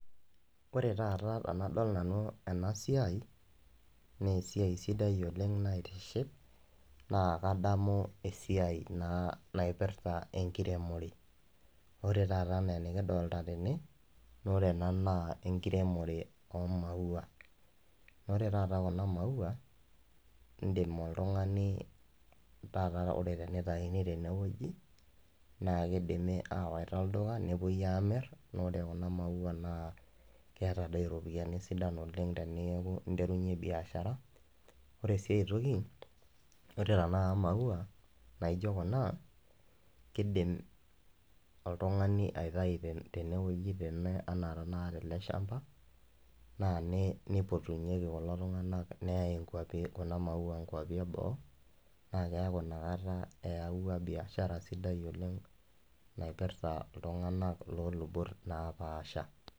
Ore taata enadol nanu ena siai, nee esiai sidai oleng naitiship, naa kadamu esiai naa naipirta enkiremore, ore taata enaa enikidolta tene, ore ena naa enkiremore, omuaia, naa ore taata kuna maua idim oltungani taata. Ene wueji naa kidimi aawaita olduka nepuoi Aamir, naa ore kuna maua naa kiyata doi iropiyiani sidan oleng teninterunye biashara, ore sii ae toki ore tenakata imaua naijo tenakata Kuna, kidim oltungani aitayu tene wueji anaa tenakata tele shampa, naa neipotunyeki kulo tunganak neyae nkaipi eboo, naa keeku inakata neyawua biashara sidai oleng naipirta iltunganak loo lubot naapasha.